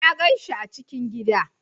Na gan shi a cikin gida